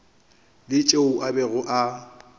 la tšeo a bego a